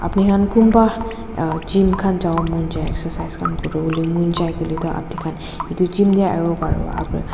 apni khan kunba a gym khan jabo mon jai excercise khan kori bole mon jai koile to apni etu gym te ahi pari bo.